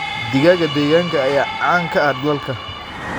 Digaagga deegaanka ayaa caan ka ah dalka.